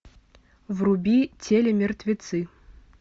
вруби телемертвецы